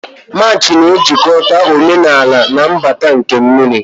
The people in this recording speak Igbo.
March na-ejikọta omenala na mbata nke mmiri.